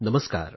नमस्कार